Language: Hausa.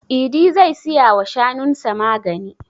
Idi zai siya wa shanun sa magani.